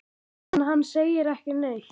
En hann segir ekki neitt.